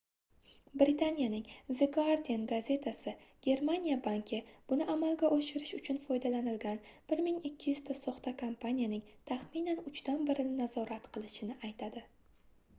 britaniyaning the guardian gazetasi germaniya banki buni amalga oshirish uchun foydalanilgan 1200 ta soxta kompaniyaning taxminan uchdan birini nazorat qilishini aytadi